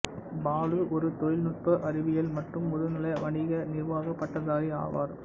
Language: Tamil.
பாலு ஒரு தொழில்நுட்ப அறிவியல் மற்றும் முதுநிலை வணிக நிர்வாக பட்டதாரி ஆவார்